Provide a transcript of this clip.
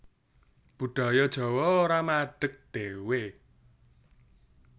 Budaya Jawa ora madeg dhéwé